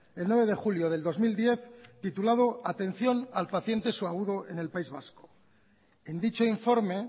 el nueve de julio del dos mil diez titulado atención al paciente subagudo en el país vasco en dicho informe